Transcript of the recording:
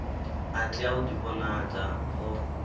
a tea u ḓivhonadza o